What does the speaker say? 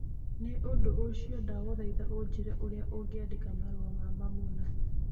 Nĩ ũndũ ũcio, ndagũthaitha ũnjĩĩre ũrĩa ũngĩandĩka marũa ma mamuna.